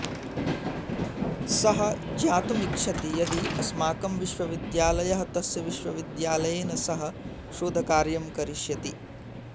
सः ज्ञातुम् इच्छति यदि अस्माकं विश्वविद्यालयः तस्य विश्वविद्यालयेन सह शोधकार्यं करिष्यति